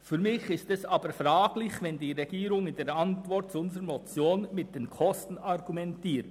Für mich ist dies jedoch fragwürdig, wenn die Regierung in der Antwort auf unsere Motion mit den Kosten argumentiert.